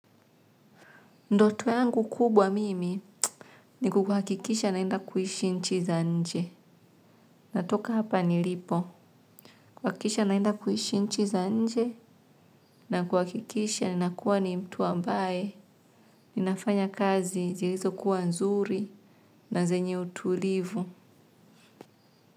Ndoto yangu kubwa mimi ni kuhakikisha naenda kuhishi nchi za nje. Natoka hapa nilipo. Kuhakikisha naenda kuishi nchi za nje na kuhakikisha ni nakuwa ni mtu ambaye. Ninafanya kazi zilizokuwa nzuri na zenye utulivu.